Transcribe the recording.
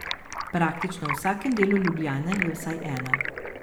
Praktično v vsakem delu Ljubljane je vsaj ena.